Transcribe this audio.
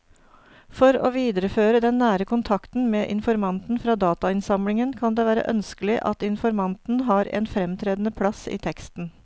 For å videreføre den nære kontakten med informanten fra datainnsamlingen kan det være ønskelig at informanten har en fremtredende plass i teksten.